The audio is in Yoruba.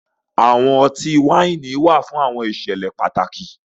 Awọn ọ̀tí-waini wà fún awọn ìṣẹ̀lẹ̀ pátàkì